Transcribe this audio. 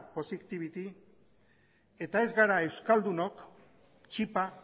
poziktibity eta ez gara euskaldunok txipa